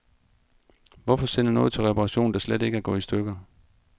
Hvorfor sende noget til reparation, der slet ikke er gået i stykker.